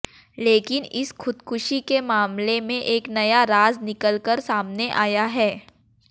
लेकिन इस खुदकुशी के मामले में एक नया राज निकल कर सामने आया है